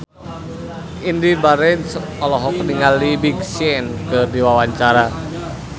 Indy Barens olohok ningali Big Sean keur diwawancara